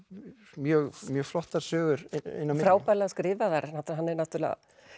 mjög mjög flottar sögur inn á frábærlega skrifaðar hann er náttúrulega